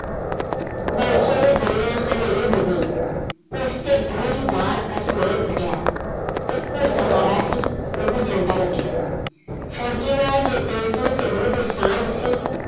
ਬਾਂਸੋ ਦੀ ਦੁਨੀਆਂ ਹਨੇਰੀ ਹੋ ਗਈ, ਉਸ ਤੇ ਦੂਹਰੀ ਵਾਰ ਅਸਮਾਨ ਫਟਿਆ ਇੱਕੋ ਸਹਾਰਾ ਸੀ, ਉਹ ਵੀ ਜਾਂਦਾ ਲੱਗਿਆ ਫ਼ੋਜ਼ੀ ਨਾਲ ਜੋ ਦਿਲ ਦੀ ਤੇ ਰੂਹ ਦੀ ਸਾਂਝ ਸੀ,